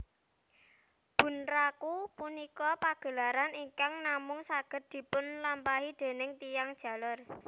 Bunraku punika pagelaran ingkang namung saged dipunlampahi déning tiyang jaler